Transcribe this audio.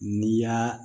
N'i y'a